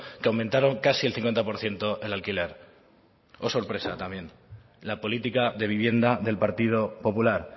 que aumentaron casi el cincuenta por ciento el alquiler sorpresa también la política de vivienda del partido popular